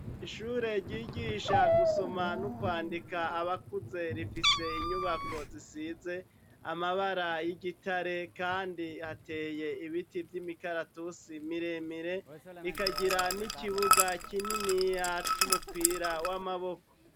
Ishure ryigisha gusoma no kwandika abakuze rifise inyubako zisize amabara y'igitare, kandi hateye ibiti vy'imikaratusi miremire, rikagira n'ikibuga kininiya c'umupira w'amaboko.